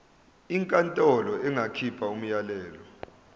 inkantolo ingakhipha umyalelo